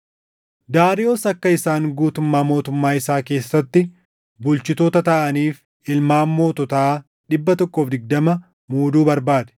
Daariyoos akka isaan guutummaa mootummaa isaa keessatti bulchitoota taʼaniif ilmaan moototaa 120 muuduu barbaade;